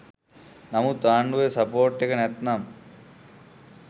නමුත් ආණ්ඩුවෙ සපෝට් එක නැත්නම්